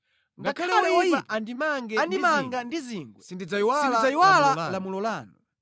Ngakhale oyipa andimange ndi zingwe, sindidzayiwala lamulo lanu.